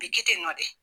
A bɛ kɛ ten tɔ de